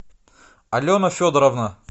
алена федоровна